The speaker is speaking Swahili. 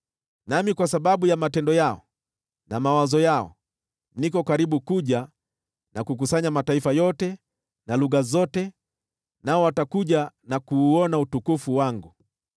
“Nami, kwa sababu ya matendo yao na mawazo yao, niko karibu kuja na kukusanya mataifa yote na lugha zote, nao watakuja na kuuona utukufu wangu.